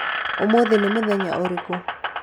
ũmũthĩ nĩmũthenya ũrĩku?